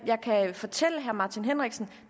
fortælle herre martin henriksen